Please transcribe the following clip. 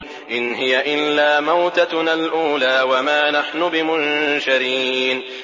إِنْ هِيَ إِلَّا مَوْتَتُنَا الْأُولَىٰ وَمَا نَحْنُ بِمُنشَرِينَ